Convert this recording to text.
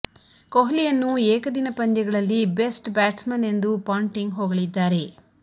ಕೊಹ್ಲಿಯನ್ನು ಏಕದಿನ ಪಂದ್ಯಗಳಲ್ಲಿ best batsman ಎಂದೂ ಪಾಂಟಿಂಗ್ ಹೊಗಳಿದ್ದಾರೆ